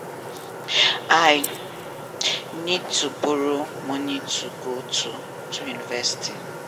i need to borrow money to go to to university